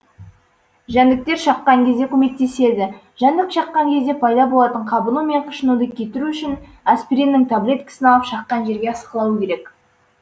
жәндіктер шаққан кезде көмектеседі жәндік шаққан кезде пайда болатын қабыну мен қышынуды кетіру үшін аспириннің таблеткасын алып шаққан жерге ысқылау керек